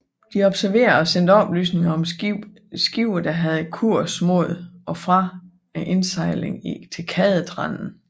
De observerede og sendte oplysninger om skibe der havde kurs mod og fra indsejlingen til Kadetrenden